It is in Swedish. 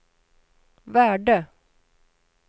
värde